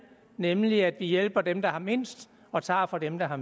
nemlig at vi hjælper dem der har mindst og tager fra dem der har